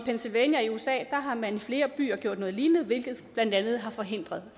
usa har man i flere byer gjort noget lignende hvilket blandt andet har forhindret